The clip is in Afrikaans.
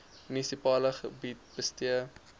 munisipale gebied bestee